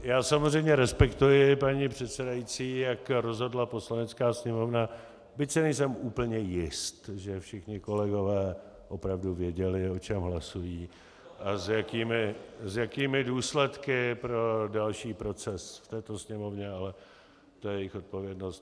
Já samozřejmě respektuji, paní předsedající, jak rozhodla Poslanecká sněmovna, byť si nejsem úplně jist, že všichni kolegové opravdu věděli, o čem hlasují a s jakými důsledky pro další proces v této Sněmovně, ale to je jejich odpovědnost.